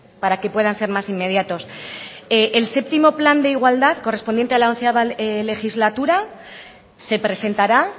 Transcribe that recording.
para que puedan ser más inmediatos el séptimo plan de igualdad correspondiente a la once legislatura se presentará